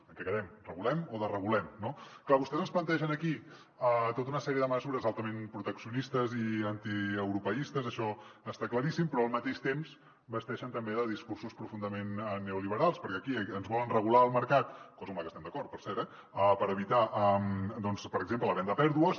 en què quedem regulem o desregulem no clar vostès ens plantegen aquí tota una sèrie de mesures altament proteccionis·tes i antieuropeistes això està claríssim però al mateix temps basteixen també discursos profundament neoliberals perquè aquí ens volen regular el mercat cosa amb la qual estem d’acord per cert eh per evitar doncs per exemple la venda a pèrdues